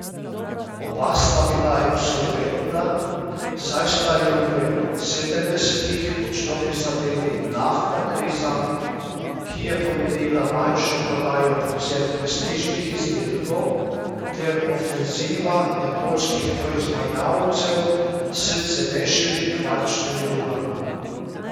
Oba sta bila insolventna, saj sta ju v sedemdesetih močno prizadeli naftna kriza, ki je pomenila manjšo prodajo predvsem prestižnih izdelkov, ter ofenziva japonskih proizvajalcev s cenejšimi kvarčnimi urami.